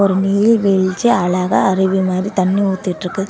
நீர்வீழ்ச்சி அழகா அருவி மாதிரி தண்ணி ஊத்திட்டு இருக்கு.